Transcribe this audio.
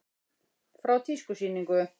Frá tískusýningu.